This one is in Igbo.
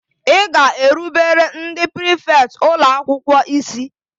Ị ga-erubere ndị prịfèkt ụlọ akwụkwọ isi!